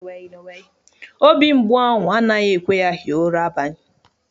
Obi mgbu ahụ anaghi ekwe ya hie ura abani.